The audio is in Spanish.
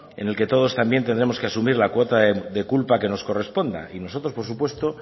en la que todos también tendremos que asumir la cuota de culpa que nos corresponda y nosotros por supuesto